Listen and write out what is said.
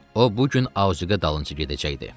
O bu gün Auqaya dalınca gedəcəkdi.